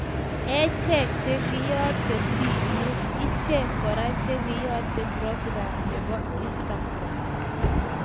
Echek chekeyate simet, echek kora chekeyate program nebo instagram